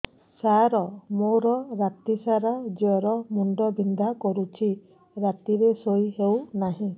ସାର ମୋର ରାତି ସାରା ଜ୍ଵର ମୁଣ୍ଡ ବିନ୍ଧା କରୁଛି ରାତିରେ ଶୋଇ ହେଉ ନାହିଁ